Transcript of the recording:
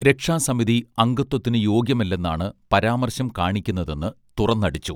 രക്ഷാസമിതി അംഗത്വത്തിനു യോഗ്യമല്ലെന്നാണ് പരാമർശം കാണിക്കുന്നതെന്ന് തുറന്നടിച്ചു